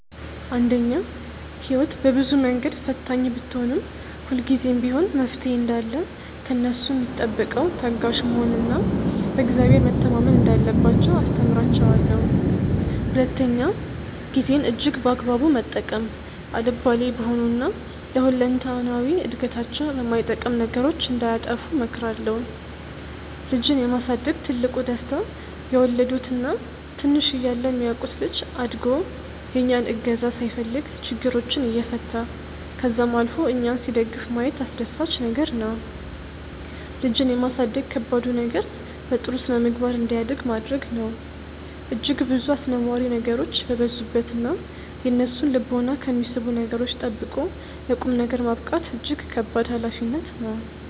አንደኛ፦ ህይወት በብዙ መንገድ ፈታኝ ብትሆንም፤ ሁልጊዜም ቢሆን መፍትሔ እንዳለ ከእነሱ ሚጠበቀው ታጋሽ መሆን እና በ እግዚአብሔር መተማመን እንዳለባቸው አስተምራቸዋለው። ሁለተኛ፦ ጊዜን እጅግ በአግባቡ መጠቀም፤ አልባሌ በሆኑ እና ለ ሁለንተናዊ እድገታቸው በማይጠቅም ነገሮች እንዳያጠፉ እመክራለሁ። ልጅን የማሳደግ ትልቁ ደስታ የወለዱት እና ትንሽ እያለ የሚያውቁት ልጅ አድጎ የእኛን እገዛ ሳይፈልግ ችግሮችን እየፈታ ከዛም አልፎ እኛን ሲደግፍ ማየት አስደሳች ነገር ነው። ልጅን የማሳደግ ከባዱ ነገር በጥሩ ስነምግባር እንዲያድግ ማድረግ ነው። እጅግ ብዙ አስነዋሪ ነገሮች በበዙበት እና የእነሱን ልቦና ከሚስቡ ነገሮች ጠብቆ ለ ቁምነገር ማብቃት እጅግ ከባድ ሀላፊነት ነው።